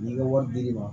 N'i ka wari dir'i ma